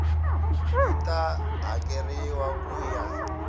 yi ta hakeriwa ku ya